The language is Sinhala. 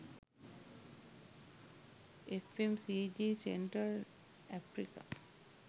fmcg central africa